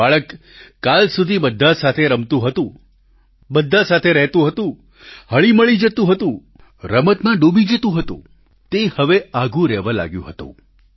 જે બાળક કાલ સુધી બધા સાથે રમતું હતું બધા સાથે રહેતું હતું હળીમળી જતું હતું રમતમાં ડૂબી જતું હતું તે હવે આઘું રહેવા લાગ્યું હતું